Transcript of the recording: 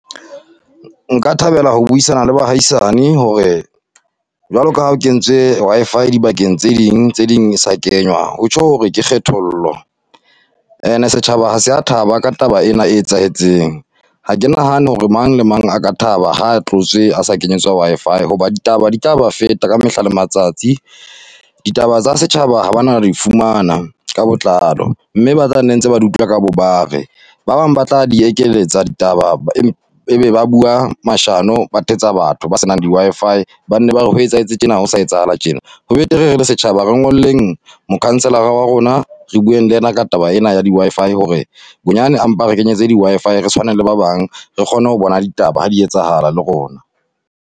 Nka thabela ho buisana le bahaisane hore, jwaloka ha o kentswe Wi-Fi dibakeng tse ding tse ding e sa kenywa. Ho tjho hore ke kgethollo and-e setjhaba ha se ya thaba ka taba e na e etsahetseng. Ha ke nahane hore mang le mang a ka thaba ha tlotswe a sa kenyeletswa Wi-Fi, hoba ditaba di tla ba feta ka mehla le matsatsi. Ditaba tsa setjhaba ha bana di fumana ka botlalo, mme ba tla nne ntse ba di utlwa ka bo bare. Ba bang ba tla di ekeletsa ditaba, e be ba bua mashano, ba thetsa batho ba se nang di-Wi-Fi. Ba nne ba re ho etsahetse tjena, ho sa etsahala tjena. Ho betere re le setjhaba re ngolleng mo-councillor-a wa rona, re bueng le ena ka taba ena ya di-Wi-Fi hore, bonyane a mpa re kenyetse di-Wi-Fi, re tshwaneng le ba bang. Re kgone ho bona ditaba ha di etsahala le rona.